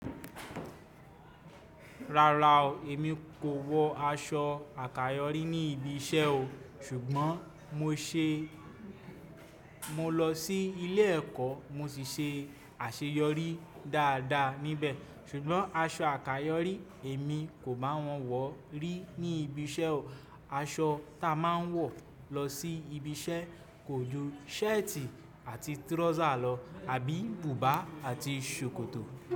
Rárá o, èmi kò wọ aṣọ àkayòrí ní ibi iṣẹ́ o, ṣùgbọ́n mo ṣe mo lọ sí ilé ẹ̀kọ́ mo sì ṣe àṣeyọrí dáadáa níbẹ̀. Ṣùgbọ́n aṣọ àkayòrí èmi kò báa wọ̀n wọ̀ rí ní ibi iṣẹ́ o. Aṣọ ta a máa ń wọ̀ lọ sí ibi iṣẹ́ kò ju ṣẹ́ẹ̀tì àti tírọ́sà lọ àbí bùbá àti ṣòkòtò.